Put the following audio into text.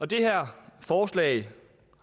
det her forslag